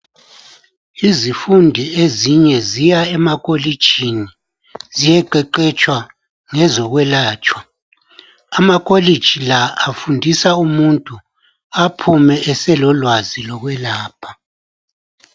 izifundi ezinye zaya emakolitshini ziyeqeqetsha ngezokwelatshwa amakolitshi la afundisa umuntu aphume eselolwazi lokwelapha